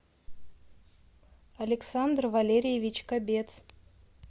александр валерьевич кобец